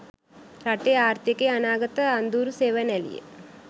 රටේ ආර්ථිකයේ අනාගත අඳුරු සෙවණැලිය